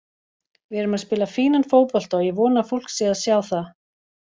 Við erum að spila fínan fótbolta og ég vona að fólk sé að sjá það.